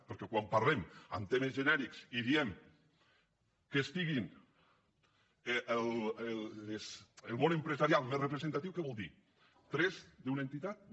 perquè quan parlem en termes genèrics i diem que hi sigui el món empresarial més representatiu què vol dir tres d’una entitat no